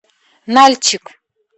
нальчик